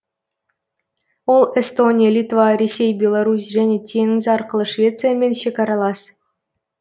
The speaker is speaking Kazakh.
ол эстония литва ресей беларусь және теңіз арқылы швециямен шекаралас